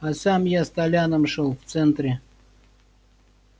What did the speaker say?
а сам я с толяном шёл в центре